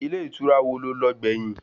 Ilé ìtura wò lo lọ gbẹ̀yìn?